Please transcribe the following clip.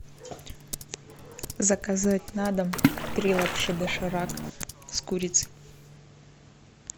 заказать на дом три лапши доширак с курицей